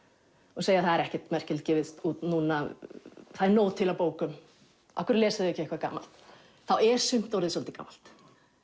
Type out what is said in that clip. og segja það er ekkert merkilegt gefið út núna það er nóg til af bókum af hverju lesið þið ekki eitthvað gamalt þá er sumt orðið svolítið gamalt